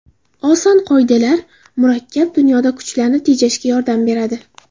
Oson qoidalar murakkab dunyoda kuchlarni tejashga yordam beradi.